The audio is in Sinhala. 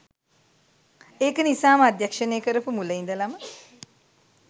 ඒක නිසාම අධ්‍යක්ෂණය කරපු මුල ඉදලම